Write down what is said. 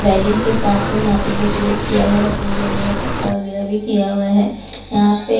wedding के हिसाब से यहां पे डेकोरेट किया हुआ है फुल वगैर पत्ता वगैर भी किया हुआ हैं यहां पे--